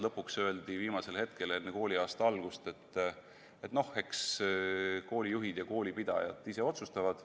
Lõpuks öeldi viimasel hetkel enne kooliaasta algust, et koolijuhid ja koolipidajad ise otsustavad.